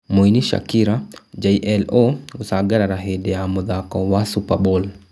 Mũini Shakira, J-Lo gũcangarara hĩndĩ ya mũthako wa Superbowl